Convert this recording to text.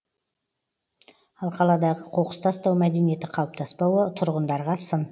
ал қаладағы қоқыс тастау мәдениеті қалыптаспауы тұрғындарға сын